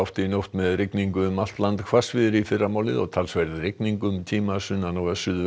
í nótt með rigningu um allt land hvassviðri í fyrramálið og talsverð rigning um tíma sunnan og